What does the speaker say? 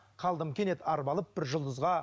қалдым кенет арбалып бір жұлдызға